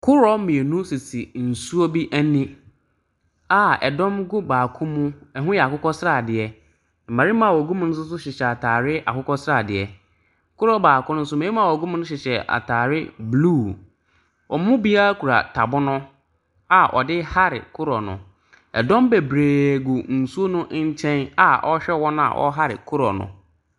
Koroɔ mmienu sisi nsuo bi ani a ɛdɔm gu baako mu ɛhoo yɛ akokɔsradeɛ. Mmarima a wɔgu mu nso hyehyɛ ataare akokɔsradeɛ. Koroɔ baako ne nso mmɛɛma a wɔgu mu no hyehyɛ ataare bluu. Ɔmo biaa kura tabono a ɔdee hare kodoɔ no. Ɛdɔm bebree gu nsuo nkyɛn a ɔɔhwɛ wɔn a ɔɔhare kodoɔ no.